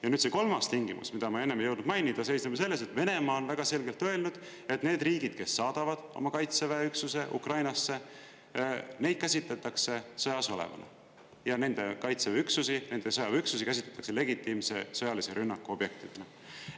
Ja nüüd see kolmas tingimus, mida ma enne ei jõudnud mainida, seisneb ju selles, et Venemaa on väga selgelt öelnud, et need riigid, kes saadavad oma Kaitseväe üksuse Ukrainasse, neid käsitletakse sõjas olevana ja nende kaitseväeüksusi, sõjaväeüksusi käsitletakse legitiimse sõjalise rünnaku objektidena.